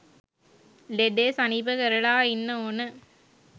ලෙඩේ සනීප කරලා ඉන්න ඕන